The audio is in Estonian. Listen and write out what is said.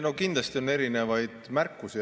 No kindlasti on erinevaid märkusi.